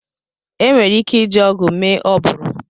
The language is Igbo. Enwere ike iji ọgụ mee oburu.